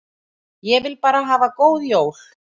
Ég vil bara hafa góð jól.